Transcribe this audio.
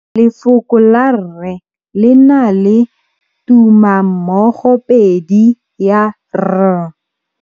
Lefoko la rre le na le tumammogôpedi ya, r.